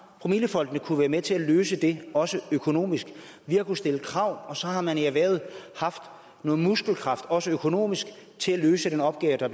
promillefondene kunnet være med til at løse det også økonomisk vi har kunnet stille krav og så har man i erhvervet haft noget muskelkraft også økonomisk til at løse den opgave der